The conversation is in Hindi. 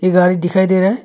ये गाड़ी दिखाई दे रहा है।